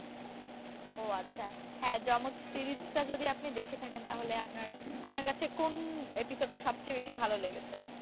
ও আচ্ছা হ্যাঁ যমজ series টা যদি আপনি দেখে থাকেন তাহলে আপনার আপনার কাছে কোন episode টা সবচেয়ে বেশি ভালো লেগেছে?